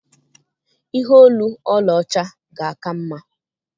Ihe olu ọlaọcha ga-aka mma.